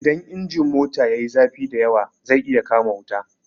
Idan injin mota yayi zafi da yawa zai iya kama wuta.